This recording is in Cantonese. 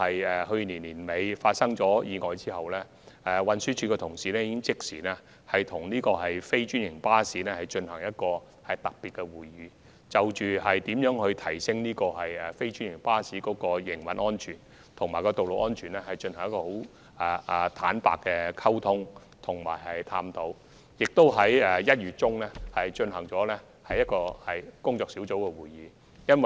自去年年底發生的交通意外後，運輸署的同事已即時與非專營巴士公司舉行特別會議，就如何提升非專營巴士的營運安全及道路安全進行坦誠溝通和探討，並在1月中旬舉行了一次工作小組會議。